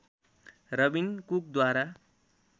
Rabin कुकद्वारा